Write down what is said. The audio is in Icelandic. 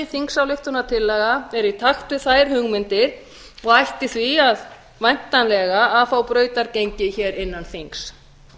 er í takt við þær hugmyndir og ætti því væntanlega að fá brautargengi hér innan þings